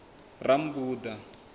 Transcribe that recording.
rammbuḓa